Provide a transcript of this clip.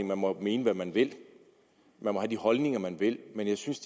man må mene hvad man vil og have de holdninger man vil men jeg synes